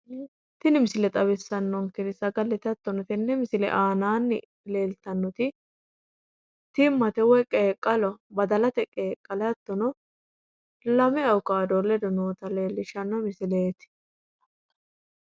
Tini misile xawisanonkeri sagalete ximma woyi qeqqaloho lame awukado ledo zayinete no